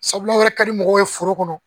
Sabula aw yɛrɛ ka di mɔgɔw ye foro kɔnɔ